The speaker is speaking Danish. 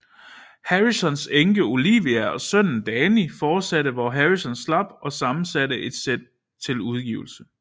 Harrisons enke Olivia og sønnen Dhani fortsatte hvor Harrison slap og sammensatte dette sæt til udgivelse